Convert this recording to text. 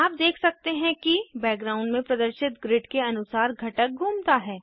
आप देख सकते हैं कि बैकग्राउंड में प्रदर्शित ग्रिड के अनुसार घटक घूमता है